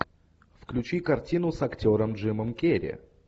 включи картину с актером джимом керри